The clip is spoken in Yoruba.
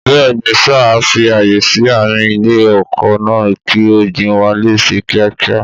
Bẹ́ẹ̀ni sà! A fi ààyè sí àárín ilé oko náà kí ọ̀gbìn wá lè ṣe kíákíá